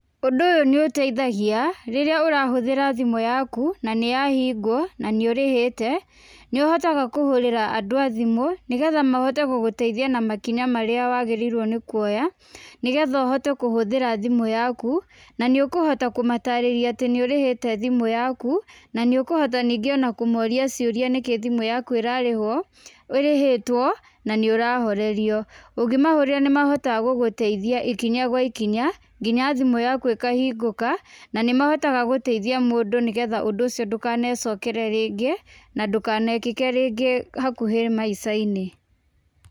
Ũndũ ũyũ nĩũteithagia rĩrĩa ũrahũthĩra thĩmũ yaku na nĩ yahingwo na nĩũrĩhĩte, nĩũhotaga kũhũrĩra andũ a thimũ nĩgetha mahote gũgũteithia na makinya marĩa wagĩrĩirwo nĩ kuoya, nĩgetha ũhote kũhũthĩra thimũ yaku, nĩ ũkũhota kũmatarĩrĩa atĩ nĩ ũrĩhĩte thimu yaku na nĩ ũkũhota ningĩ kũmũria ciũria nĩkĩ thimũ yaku ĩrarihwo ĩrĩhĩtwo na nĩ ũrahorerio. Ũngĩmahũrĩra nĩ mahotaga gũgũteithia ikinya gwa ikinya nginya thimũ yaku ikahingũka na nĩmahotaga gũteithia mũndũ nĩgetha ũndũ ũcio ndũkanecokere rĩngĩ na ndũkanekĩke ringĩ hakuhĩ maica-inĩ.